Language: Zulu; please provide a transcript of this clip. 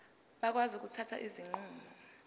bakwazi ukuthatha izinqumo